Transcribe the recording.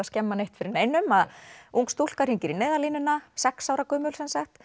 skemma neitt fyrir neinum að ung stúlka hringir í Neyðarlínuna sex ára gömul